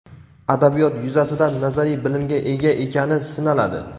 adabiyot yuzasidan nazariy bilimga ega ekani sinaladi.